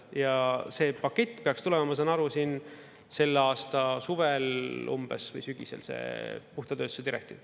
Ja see pakett peaks tulema, ma saan aru, selle aasta suvel umbes või sügisel, see puhta tööstuse direktiiv.